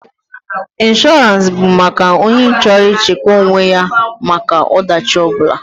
Inshọrance bụ maka onye chọrọ ị chekwa onwe ya maka ọ dachi ọ bụla.